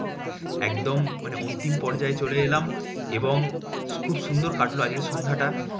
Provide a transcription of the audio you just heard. একদম মানে অন্তিম পর্যায়ে চলে এলাম এবং খুব সুন্দর কাটলো আজকের সন্ধ্যাটা।